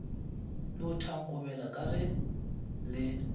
no thankobela ka ge le